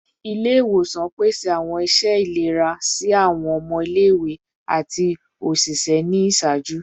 Ile-iwosan pese awọn iṣẹ ilera si awọn ọmọ ile-iwe ati oṣiṣẹ ni iṣaaju